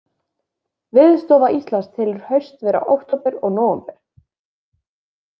Veðurstofa Íslands telur haust vera október og nóvember.